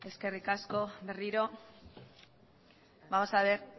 eskerrik asko berriro ere vamos a ver